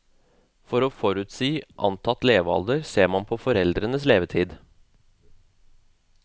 For å forutsi antatt levealder ser man på foreldrenes levetid.